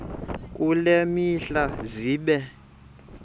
kule mihla zibe